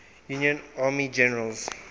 union army generals